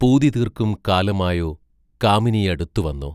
പൂതി തീർക്കും കാലമായോ കാമിനിയടുത്തു വന്നോ